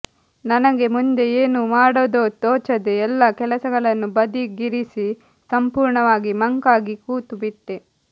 ನನಗೆ ಮುಂದೆ ಏನು ಮಾಡುವುದೋ ತೋಚದೆ ಎಲ್ಲಾ ಕೆಲಸಗಳನ್ನು ಬದಿಗಿರಿಸಿ ಸಂಪೂರ್ಣವಾಗಿ ಮಂಕಾಗಿ ಕೂತು ಬಿಟ್ಟೆ